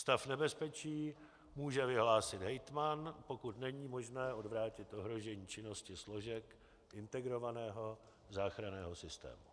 Stav nebezpečí může vyhlásit hejtman, pokud není možné odvrátit ohrožení činnosti složek integrovaného záchranného systému.